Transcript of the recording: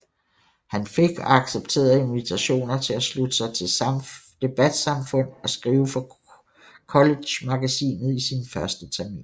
Han fik og accepterede invitationer til at slutte sig til debatsamfund og skrive for collegemagasinet i sin første termin